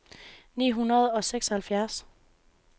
ni hundrede og seksoghalvfjerds